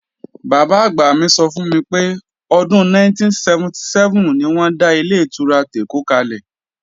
Bàbá-àgbà mi sọ fún mi pé, ọdún 1977 ni wọ́n dá Ilé-ìtura tèkó kalẹ̀